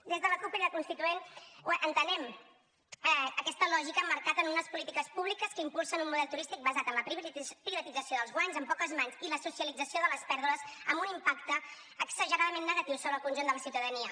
des de la cup crida constituent entenem aquesta lògica emmarcada en unes polítiques públiques que impulsen un model turístic basat en la privatització dels guanys en poques mans i la socialització de les pèrdues amb un impacte exageradament negatiu sobre el conjunt de la ciutadania